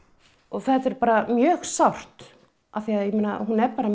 þetta er bara mjög sárt af því að hún er bara